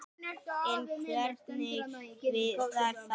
En hvernig virkar það?